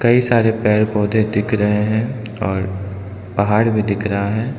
कई सारे पेड़ पौधे दिख रहे है और पहाड़ भी दिख रहा है।